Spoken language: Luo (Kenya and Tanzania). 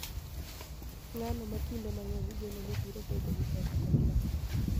Ng�ano ma kinde mang�eny igeno ni biro bedo gi teko kod loch